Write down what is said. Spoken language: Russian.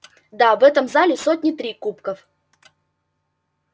да в этом зале сотни три кубков